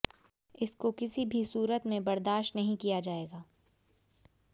इसको किसी भी सूरत में बर्दाश्त नहीं किया जाएगा